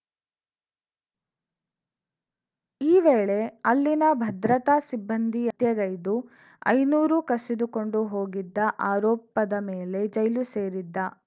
ಈ ವೇಳೆ ಅಲ್ಲಿನ ಭದ್ರತಾ ಸಿಬ್ಬಂದಿ ಹತ್ಯೆಗೈದು ಐನೂರು ಕಸಿದುಕೊಂಡು ಹೋಗಿದ್ದ ಆರೋಪದ ಮೇಲೆ ಜೈಲು ಸೇರಿದ್ದ